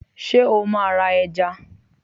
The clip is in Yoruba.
sẹ o ma ra èja?